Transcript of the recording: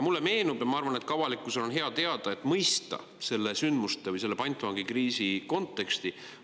Mulle see meenub ja ma arvan, et ka avalikkusel on seda hea teada, et mõista nende sündmuste või selle pantvangikriisi konteksti.